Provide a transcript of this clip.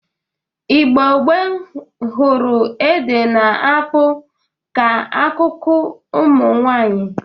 Igbo gboo gụrụ ede na akpụ ka akụkụ ụmụ nwaanyị